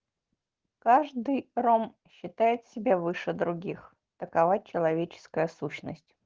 каждый ром считает себя выше других такова человеческая сущность